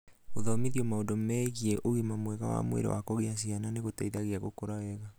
Gũthomithio maũndũ megiĩ ũgima mwega wa mwĩrĩ wa kũgĩa ciana nĩ gũgũgũteithia gũkũra wega.